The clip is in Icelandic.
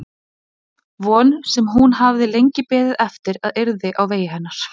Von sem hún hafði lengi beðið eftir að yrði á vegi hennar.